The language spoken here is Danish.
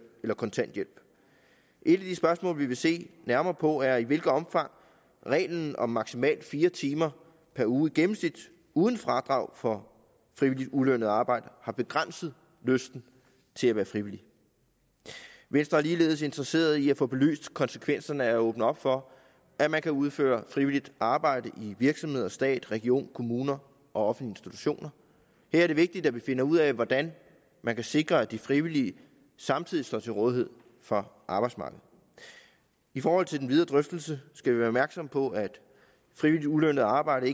eller kontanthjælp et af de spørgsmål vi vil se nærmere på er i hvilket omfang reglen om maksimalt fire timer per uge i gennemsnit uden fradrag for frivilligt ulønnet arbejde har begrænset lysten til at være frivillig venstre er ligeledes interesseret i at få belyst konsekvenserne af at åbne op for at man kan udføre frivilligt arbejde i virksomheder stat regioner kommuner og offentlige institutioner her er det vigtigt at vi finder ud af hvordan man kan sikre at de frivillige samtidig står til rådighed for arbejdsmarkedet i forhold til den videre drøftelse skal vi være opmærksomme på at frivilligt ulønnet arbejde